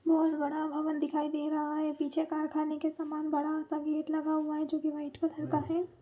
बहुत बड़ा भवन दिखाई दे रहा है पीछे कारख़ाने के समान बड़ा सा गेट लगा हुआ है जो की वाइट कलर का है।